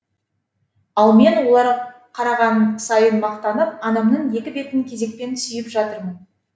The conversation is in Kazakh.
ал мен олар қараған сайын мақтанып анамның екі бетін кезекпен сүйіп жатырмын